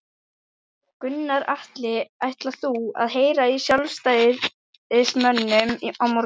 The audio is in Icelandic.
Gunnar Atli: Ætlar þú að heyra í sjálfstæðismönnum á morgun?